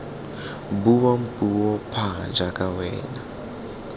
buang puo pha jaaka wena